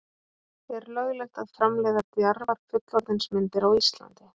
er löglegt að framleiða djarfar fullorðinsmyndir á íslandi